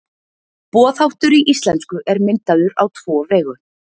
Boðháttur í íslensku er myndaður á tvo vegu.